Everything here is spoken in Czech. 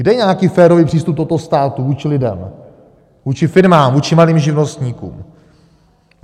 Kde je nějaký férový přístup tohoto státu vůči lidem, vůči firmám, vůči malým živnostníkům?